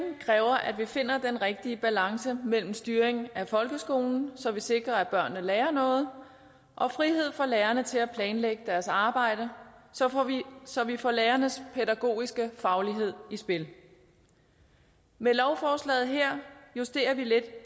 kræver at vi finder den rigtige balance mellem styring af folkeskolen så vi sikrer at børnene lærer noget og frihed for lærerne til at planlægge deres arbejde så vi får lærernes pædagogiske faglighed i spil med lovforslaget her justerer vi lidt